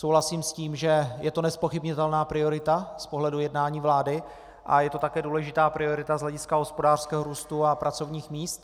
Souhlasím s tím, že je to nezpochybnitelná priorita z pohledu jednání vlády a je to také důležitá priorita z hlediska hospodářského růstu a pracovních míst.